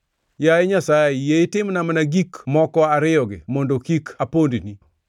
“Yaye Nyasaye, yie itimna mana gik moko ariyogi mondo kik apondni.